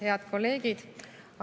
Head kolleegid!